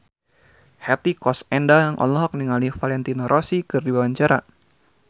Hetty Koes Endang olohok ningali Valentino Rossi keur diwawancara